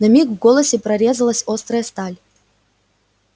на миг в голосе прорезалась острая сталь